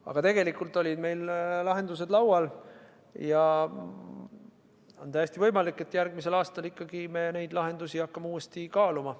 Aga tegelikult olid meil lahendused laual ja on täiesti võimalik, et järgmisel aastal me hakkame neid uuesti kaaluma.